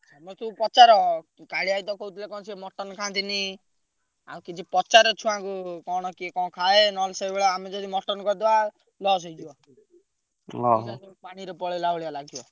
ତମେ ଟିକେ ପଚାର କାଳିଆ ଭାଇ ତ କହୁଥିଲେ କଣ ସେ ମଟନ ଖାଆନ୍ତିନି। ଆଉ କିଛି ପଚାର ଛୁଆଙ୍କୁ କଣ କିଏ କଣ ଖାଏ ନହେଲେ ସେଇଭଳିଆ ଆମେ ଯଦି ମଟନ କରିଦବା loss ହେଇଯିବ। ପଇସା ସବୁ ପାଣିରେ ପଳେଇଲା ଭଳିଆ ଲାଗିବ।